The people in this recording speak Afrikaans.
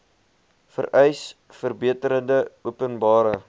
vereis verbeterde openbare